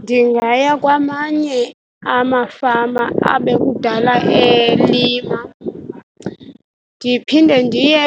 Ndingaya kwamanye amafama abekudala elima, ndiphinde ndiye